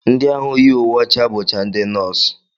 Ndị ahụ yi uwe ọcha bụcha ndị nọọsụ